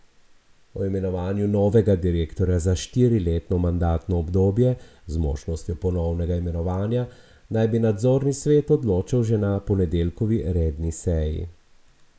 O imenovanju novega direktorja za štiriletno mandatno obdobje z možnostjo ponovnega imenovanja naj bi nadzorni svet odločal že na ponedeljkovi redni seji.